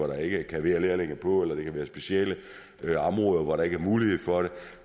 der ikke kan være lærlinge på eller hvis det er specielle områder hvor der ikke mulighed for det